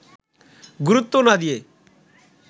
গুরুত্ব না দিয়ে